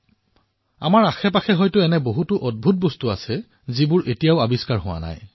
আমাৰ আশেপাশে এনে বহু আশ্বৰ্যকৰ ঘটনা ঘটি আছে যি এতিয়াও অনাৱিষ্কৃত হৈ আছে